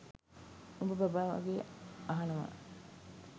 උබ බබා වගේ අහනවා